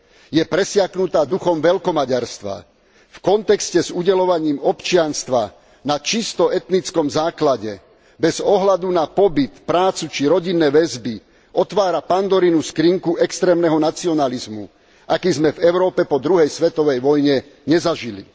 Je presiaknutá duchom veľkomaďarstva. V kontexte s udeľovaním občianstva na čisto etnickom základe, bez ohľadu na pobyt, prácu či rodinné väzby, otvára Pandorinu skrinku extrémneho nacionalizmu, aký sme v Európe po Druhej svetovej vojne nezažili.